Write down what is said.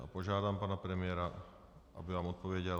A požádám pana premiéra, aby vám odpověděl.